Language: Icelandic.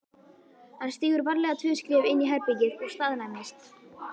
Hann stígur varlega tvö skref inn í herbergið og staðnæmist.